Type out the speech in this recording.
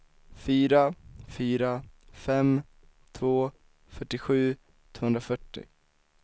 fyra fyra fem två fyrtiosju tvåhundrafyrtio